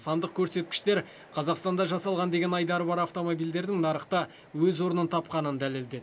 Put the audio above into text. сандық көрсеткіштер қазақстанда жасалған деген айдары бар автомобильдердің нарықта өз орнын тапқанын дәлелдеді